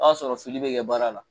A b'a sɔrɔ fili bɛ kɛ baara la.